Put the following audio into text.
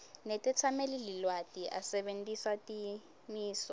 netetsamelilwati asebentisa timiso